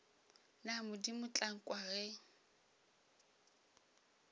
na modimo tla nkwa ge